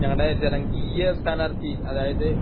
ഞങ്ങളുടെ ജനകീയ സ്ഥാനാർത്ഥി അതായത്